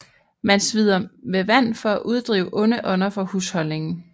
Man smider med vand for at uddrive onde ånder fra husholdningen